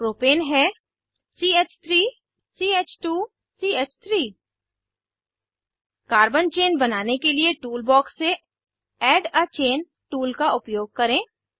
propane है ch3 ch2 च3 carbon chain बनाने के लिए टूल बॉक्स से ऐड अ चेन टूल का उपयोग करें